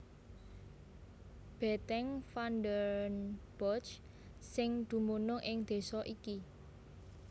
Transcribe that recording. Bètèng Van den Bosch sing dumunung ing désa iki